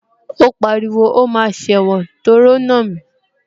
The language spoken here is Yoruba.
Ó pariwo, o máa sẹ̀wọ̀n torí o nà mí